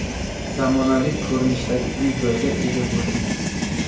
Zamonaviy ko‘rinishdagi uy-joyga ega bo‘ldik.